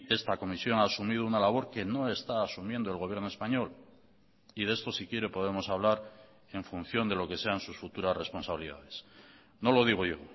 esta comisión ha asumido una labor que no está asumiendo el gobierno español y de esto si quiere podemos hablar en función de lo que sean sus futuras responsabilidades no lo digo yo